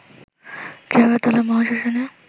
Keoratala মহাশ্মশানে